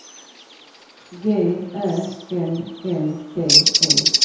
G Ä L L D E